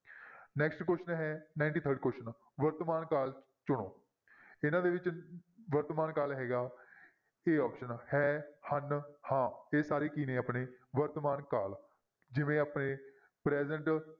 Next question ਹੈ ninety-third question ਵਰਤਮਾਨ ਕਾਲ ਚੁਣੋ, ਇਹਨਾਂ ਦੇ ਵਿੱਚ ਵਰਤਮਾਨ ਕਾਲ ਹੈਗਾ a option ਹੈ, ਹਨ, ਹਾਂ, ਇਹ ਸਾਰੇ ਕੀ ਨੇ ਆਪਣੇ ਵਰਤਮਾਨ ਕਾਲ ਜਿਵੇਂ ਆਪਣੇ present